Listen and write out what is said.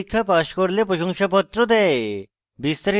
online পরীক্ষা pass করলে প্রশংসাপত্র দেয়